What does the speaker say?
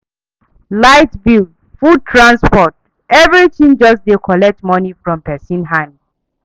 Light bill, food, transport, everything just dey collect money from pesin hand